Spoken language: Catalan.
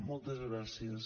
moltes gràcies